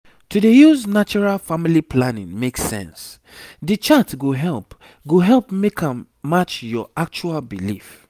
to dey use natural family planning make sense the chart go help go help make am match your actual belief.